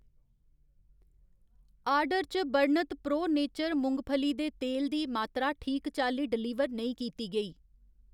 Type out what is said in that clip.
order च बर्णत pro nature मुंगफली दे तेल दी मात्तरा ठीक चाल्ली डलीवर नेईं कीती गेई